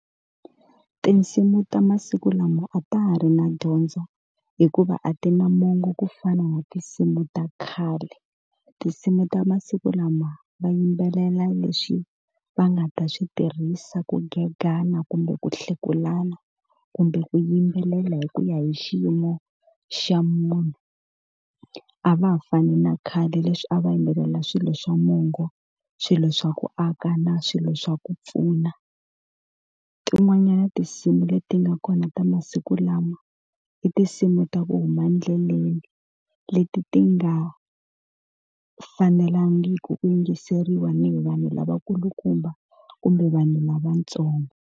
Tinsimu ta masiku lama a ta ha ri na dyondzo hikuva a ti na mongo ku fana na tinsimu ta khale. Tinsimu ta masiku lama va yimbelela leswi va nga ta swi tirhisa ku gegana, kumbe ku hlekulana, kumbe ku yimbelela hi ku ya hi xiyimo xa munhu. A va ha fani na khale leswi a va yimbelela swilo swa mongo, swilo swa ku aka na swilo swa ku pfuna. Tin'wanyana tinsimu leti nga kona ta masiku lawa i tinsimu ta ku huma endleleni, leti ti nga fanelangiki ku yingiseriwa ni hi vanhu lavakulukumba kumbe vanhu lavatsongo.